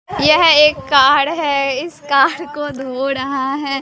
यह एक कार है इस कार को धो रहा है।